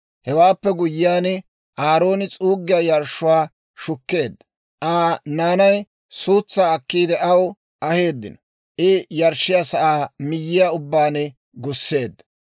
Hewaappe guyyiyaan, Aarooni s'uuggiyaa yarshshuwaa shukkeedda; Aa naanay suutsaa akkiide aw aheeddino; I yarshshiyaa sa'aa miyyiyaa ubbaan gusseedda.